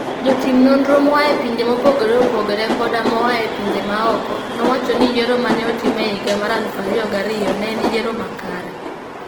Jotim nonro moa e pinje mopogore opogore koda moa e pinje maoko, nowacho ni yiero ma ne otim e higa 2002 ne en yiero makare.